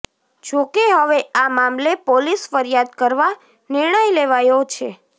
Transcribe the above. જો કે હવે આ મામલે પોલીસ ફરિયાદ કરવા નિર્ણય લેવાયો છે